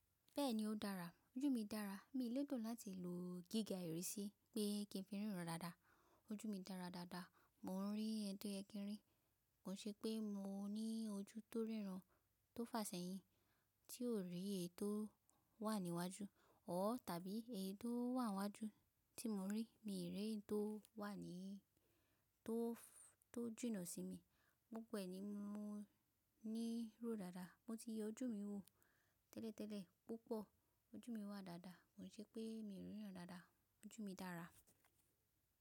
Bẹ́ẹ̀ni ó dára, ojú mi dára. Mi o lèdò láti lò gíga ìrísí pé kí n fi ríran dáadáa. Ojú mi dára dáadáa, mò ń rí ètò ẹkẹrẹ. Kò ṣe pé mo ní ojú tó ríran tó fàsẹ́yìn tí ò rí ètò wà ní iwájú ọ́ tàbí eyii to wà níwájú tí mo rí. Mi rí ètò wà ní tó jìnà sí mi. Gbogbo e ní mo ní ró dáadáa. Mo ti yan ojú mi wò tẹ́lẹ̀tẹ́lẹ̀ púpọ̀. Ojú mi wà dáadáa. Kò ṣe pé mi ò ríran dáadáa. Ojú mi dára.